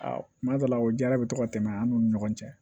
Aa kuma dɔ la o jara bɛ to ka tɛmɛ an n'u ni ɲɔgɔn cɛ